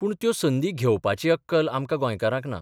पूण त्यो संदी घेवपाची अक्कल आमकां गोंयकारांक ना.